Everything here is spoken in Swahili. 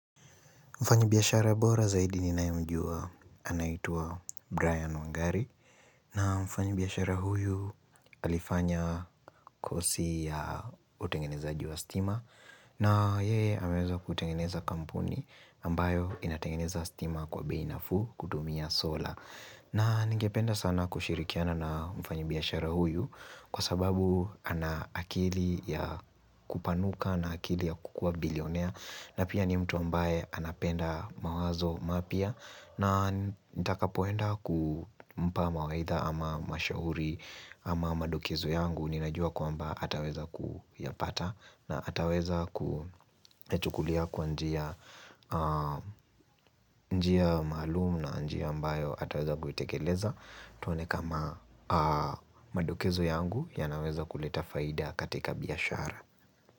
Mfanyi biashara bora zaidi ninaye mjua anaitwa Brian Wangari na mfanyi biashara huyu alifanya kosi ya utengenezaji wa stima na yeye ameweza kutengeneza kampuni ambayo inatengeneza stima kwa bei nafuu kutumia sola na ningependa sana kushirikiana na mfanyi biashara huyu Kwa sababu ana akili ya kupanuka na akili ya kukuwa bilionea na pia ni mtu ambaye anapenda mawazo mapya na nitakapoenda kumpa mawaidha ama mashauri ama madokezo yangu ninajua kwamba ataweza kuyapata na ataweza kuyachukulia kwa njia maalum na njia ambayo ataweza kuitekeleza tuone kama madokezo yangu yanaweza kuleta faida katika biashara.